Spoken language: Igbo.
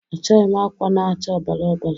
Achọghị m akwa na-acha ọ̀bàrà ọ̀bàrà